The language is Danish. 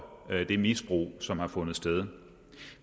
det misbrug som har fundet sted